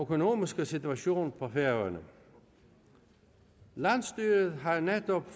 økonomiske situation på færøerne landsstyret har netop